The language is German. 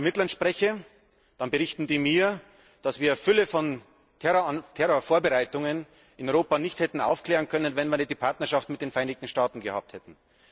Wenn ich mit Ermittlern spreche, dann berichten die mir, dass wir eine Fülle von Terrorvorbereitungen in Europa nicht hätten aufklären können, wenn wir nicht die Partnerschaft mit den Vereinigten Staaten gehabt hätten.